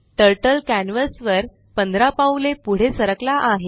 turtle canvas वर 15 पाऊले पुढे सरकला आहे